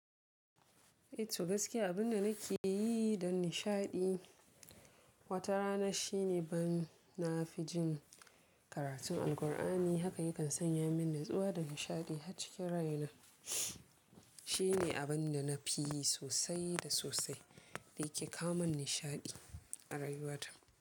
Eh to gaskiya abin da nake yi don nishaɗi wata rana shine ban na fi jin karatun Alqur'ani haka yakan sanya min natsuwa da nishaɗi har cikin raina. Shi ne abin da na fi yi sosai da sosai da yake kawomin nishaɗi a rayuwata.